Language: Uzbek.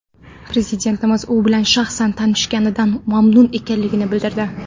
Prezidentimiz u bilan shaxsan tanishganidan mamnun ekanligini bildirdi.